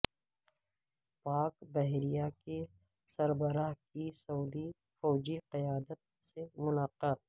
پاک بحریہ کے سربراہ کی سعودی فوجی قیادت سے ملاقات